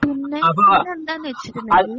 പിന്നെ പിന്നെന്താന്നു വെച്ചുകഴിഞ്ഞാൽ